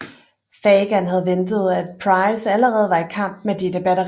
Fagan havde ventet at Price allerede var i kamp med dette batteri